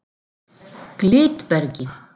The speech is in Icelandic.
Glitbergi